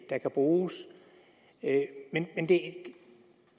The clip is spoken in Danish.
der kan bruges men